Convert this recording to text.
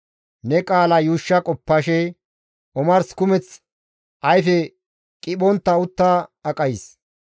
Ne qaala yuushsha qoppashe omars kumeth ayfe qiphontta utta aqays.